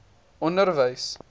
onderwys